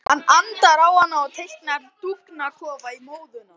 Hann andar á hana og teiknar dúfnakofa í móðuna.